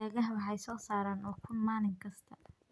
Digaagga waxay soo saaraan ukun maalin kasta.